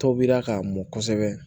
Tobira k'a mɔn kosɛbɛ